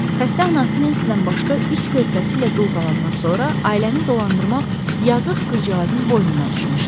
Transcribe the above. Xəstə ana Nensidən başqa üç körpəsi ilə dul qalqandan sonra, ailəni dolandırmaq yazıq qızcığazın boynuna düşmüşdü.